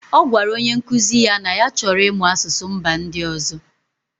Ọ gwara onye nkuzi ya na ya chọrọ ịmụ asụsụ mba ndị ọzọ.